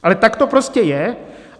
Ale tak to prostě je.